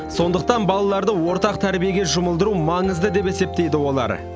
сондықтан балаларды ортақ тәрбиеге жұмылдыру маңызды деп есептейді олар